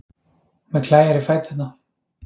Mig klæjar í fæturna.